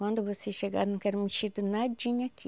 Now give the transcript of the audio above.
Quando vocês chegar, não quero mexido nadinha aqui.